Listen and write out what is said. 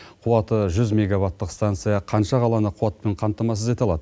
қуаты жүз мегаваттық станция қанша қаланы қуатпен қамтамасыз ете алады